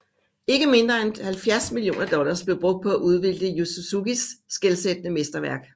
Ikke mindre end 70 millioner dollars blev brugt på at udvikle Yu Suzukis skelsættende mesterværk